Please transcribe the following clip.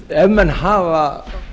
ef menn hafa